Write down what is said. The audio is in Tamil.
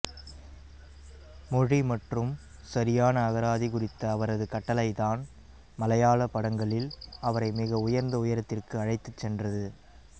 மொழி மற்றும் சரியான அகராதி குறித்த அவரது கட்டளைதான் மலையாள படங்களில் அவரை மிக உயர்ந்த உயரத்திற்கு அழைத்துச் சென்றது